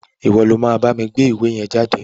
Ìwo lo ma bámi gbé ìwé yen jáde